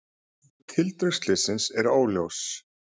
Tildrög slyssins eru óljós